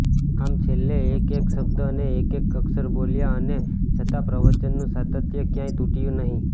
આમ છેલ્લે એકએક શબ્દ અને એકએક અક્ષર બોલ્યા અને છતાં પ્રવચનનું સાતત્ય ક્યાંય તૂટ્યું નહીં